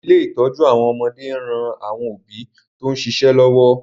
Ilé ìtọ́jú àwọn ọmọdé ń ran àwọn òbí tó ń ṣíṣe lọ́wọ́